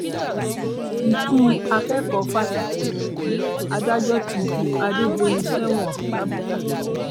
ikú akẹkọọ fásitì adájọ ti ju adédọyìn sẹwọn làbújá